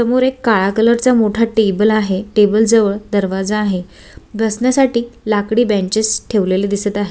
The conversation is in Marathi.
समोर एक काळा कलर चा एक मोठा टेबल आहे टेबल जवळ दरवाजा आहे बसण्यासाठी लाकडी बेंचीस ठेवलेले आहे.